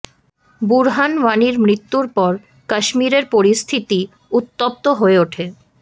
বুরহান ওয়ানির মৃত্যুর পর কাশ্মীরের পরিস্থিতি উত্তপ্ত হয়ে ওঠে